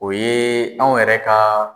O ye anw yɛrɛ ka